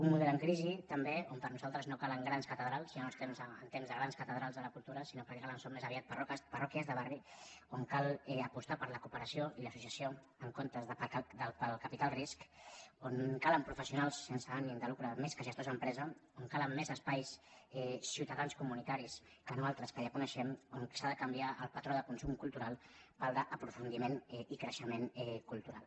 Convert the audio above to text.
un model en crisi també on per nosaltres no calen grans catedrals ja no estem en temps de grans catedrals de la cultura sinó que el que calen més aviat són parròquies de barri on cal apostar per la cooperació i l’associació en comptes de pel capital risc on calen professionals sense ànim de lucre més que gestors d’empresa on calen més espais ciutadans comunitaris que no altres que ja coneixem on s’ha de canviar el patró de consum cultural pel d’aprofundiment i creixement cultural